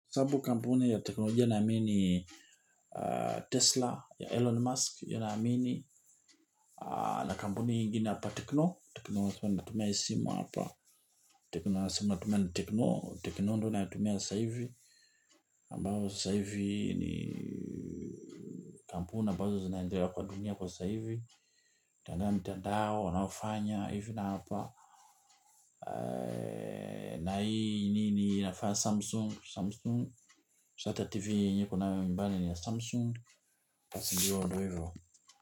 Sababu kampuni ya teknolojia naamini, Tesla ya Elon Musk inaamini na kampuni nyingine hapa Tekno Tekno lazma nitatumia hii simu hapa Tekno ndo natumia sasahivi ambayo sasahivi ni kampuni ambazo zinandelea kwa dunia kwa sasahivi nitaangalia mtandao wanavyofanya hivi na hapa. Na hii nini hii nafaa Samsung Si hata TV yenyewe niko nayo nyumbani ni ya samsung, basi jua ndo hivyo.